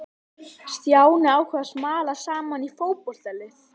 Stjáni ákvað að smala saman í fótboltalið.